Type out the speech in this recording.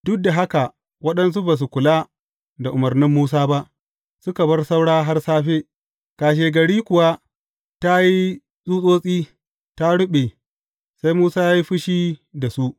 Duk da haka waɗansu ba su kula da umarnin Musa ba, suka bar saura har safe, kashegari kuwa ta yi tsutsotsi, ta ruɓe, sai Musa ya yi fushi da su.